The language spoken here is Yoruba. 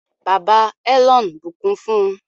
bàbà Elon bukún fún